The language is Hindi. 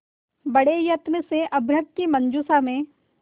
बड़े यत्न से अभ्र्रक की मंजुषा में